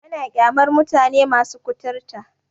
Ana ƙyamar mutane masu kuturta.